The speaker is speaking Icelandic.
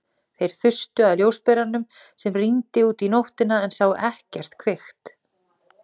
Þeir þustu að ljósberanum sem rýndi út í nóttina en sáu ekkert kvikt.